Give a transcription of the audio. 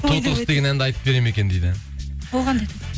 тоты құс деген әнді айтып береді ме екен дейді ол қандай